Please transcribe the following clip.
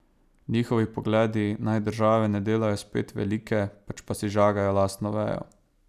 Njihovi pogledi naj države ne delajo spet velike, pač pa si žagajo lastno vejo.